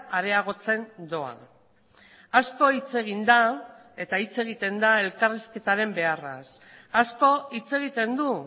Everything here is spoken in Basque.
areagotzen doa asko hitz egin da eta hitz egiten da elkarrizketaren beharraz asko hitz egiten du